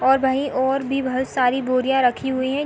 और वही और भी बहोत सारी बोरियां रखी हुई है।